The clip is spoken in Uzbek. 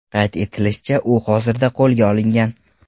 Qayd etilishicha, u hozirda qo‘lga olingan.